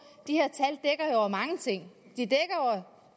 at over mange ting de dækker